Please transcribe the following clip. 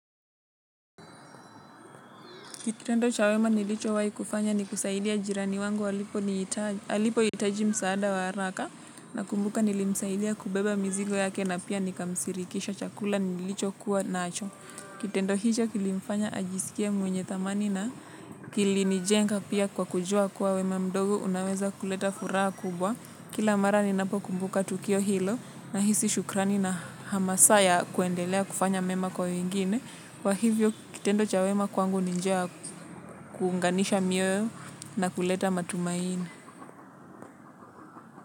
Kitendo cha wema nilicho wai kufanya ni kusaidia jirani wangu alipo itaji msaada wa haraka nakumbuka nilimsaidia kubeba mizigo yake na pia nikamsirikisha chakula nilicho kuwa nacho. Kitendo hicho kilimfanya ajisikie mwenye thamani na kilinijenga pia kwa kujua kuwa wema mdogo unaweza kuleta furaha kubwa. Kila mara ninapokumbuka tukio hilo na hisi shukrani na hamasa ya kwendelea kufanya mema kwa wengine. Kwa hivyo kitendo cha wema kwangu ni njia ya kuunganisha mioyo na kuleta matumaini.